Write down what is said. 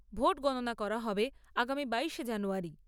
Vote গণনা করা হবে আগামী বাইশে জানুয়ারী।